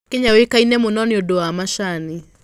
Kenya yũĩkaine mũno nĩ ũndũ wa macani.